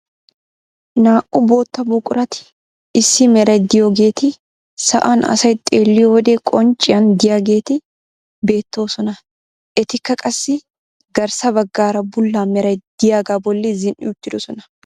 Naa"u bootta buqurati issi meray de'iyoogeti sa'an asay xeelliyo wode qoncciyaan de'iyaageti beettoosona. etikka qassi garssa baggaara bulla meray de'iyaagaa bolli zin"i uttidoosona.